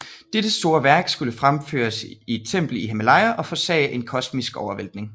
Dette store værk skulle fremføres i et tempel i Himalaya og forårsage en kosmisk omvæltning